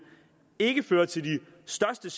ikke føre til de største